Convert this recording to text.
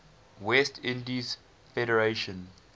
west indies federation